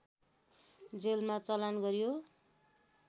जेलमा चलान गरियो